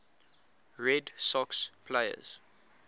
red sox players